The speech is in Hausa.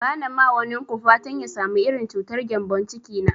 Ba na ma wanin ku fatan ya samu irin cutar gembon ciki na